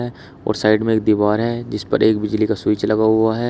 और साइड में एक दीवार है जिस पर एक बिजली का स्विच लगा हुआ है।